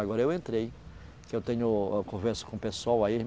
Agora eu entrei, que eu tenho, âh, converso com o pessoal aí.